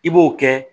I b'o kɛ